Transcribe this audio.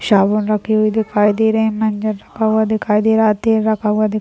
साबुन रखी हुई दिखाई दे रहे हैं मंजन रखा हुआ दिखाई दे रहा है तेल रखा हुआ दिखाई--